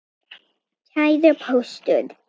Kæri Póstur!